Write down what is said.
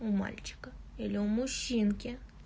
у мальчика или у мужчинки